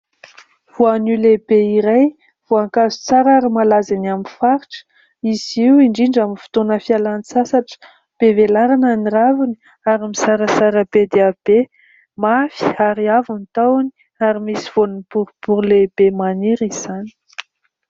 Voanio lehibe iray voankazo tsara ary malaza eny amin'ny faritra izy io indrindra amin'ny fotoana fialan-tsasatra. Be velarana ny raviny ary mizarazara be dia be mafy ary avo ny tahony ary misy voany borobory lehibe maniry izany.